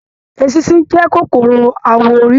Èsisi jẹ kòkòrò awọ orí.